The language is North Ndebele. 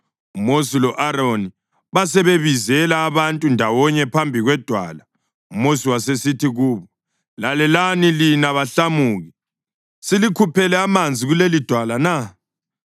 UMosi lo-Aroni basebebizela abantu ndawonye phambi kwedwala, uMosi wasesithi kubo, “Lalelani, lina bahlamuki. Silikhuphele amanzi kulelidwala na?”